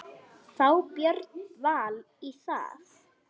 Fá Björn Val í það?